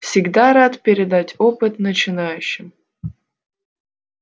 всегда рад передать опыт начинающим